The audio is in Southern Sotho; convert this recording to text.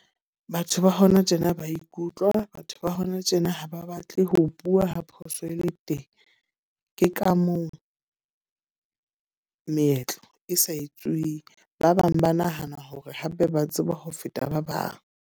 Batho ba hona tjena ba ikutlwa. Batho ba hona tjena ha ba batle ho bua ha phoso e le teng. Ke ka mong meetlo e sa etsuwing. Ba bang ba nahana hore hape ba tseba ho feta ba bang.